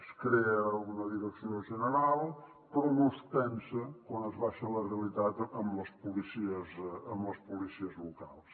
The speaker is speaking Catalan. es crea una direcció general però no es pensa quan es baixa a la realitat en les policies locals